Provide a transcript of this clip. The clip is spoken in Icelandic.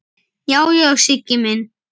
Já, já, Siggi minn.